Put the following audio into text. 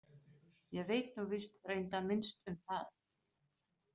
Ég veit nú víst reyndar minnst um það.